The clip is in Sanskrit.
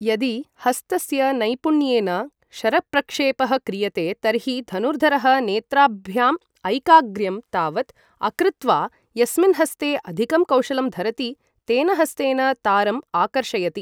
यदि हस्तस्य नैपुण्येन शरप्रक्षेपः क्रियते तर्हि धनुर्धरः नेत्राभ्याम् ऐकाग्र्यम् तावत् अकृत्वा यस्मिन् हस्ते अधिकं कौशलं धरति तेन हस्तेन तारम् आकर्षयति।